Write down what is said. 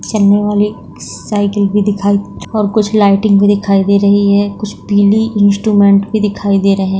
cycle भी दिखाई और कुछ लाइटिंग भी दिखाई दे रही है कुछ पीली इंस्ट्रूमेंट भी दिखाई दे रहैं --